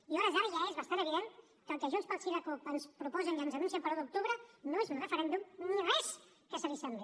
i a hores d’ara ja és bastant evident que el que junts pel sí i la cup ens proposen i ens anuncien per a l’un d’octubre no és un referèndum ni res que s’hi assembli